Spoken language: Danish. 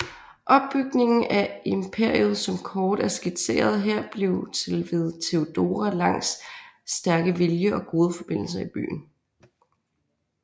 Opbygningen af imperiet som kort er skitseret her blev til ved Theodora Langs stærke vilje og gode forbindelser i byen